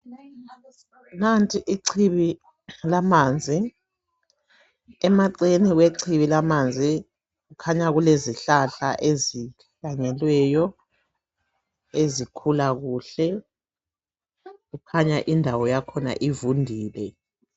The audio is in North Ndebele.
Nanti ichibi lamanzi emacele kwechibi lamanzi kukhanya kulezihlahla ezihlanyelweyo ezikhula kuhle kukhanya indawo yakhona ivundile.